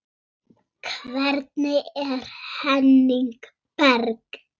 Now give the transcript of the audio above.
Hvernig er Henning Berg?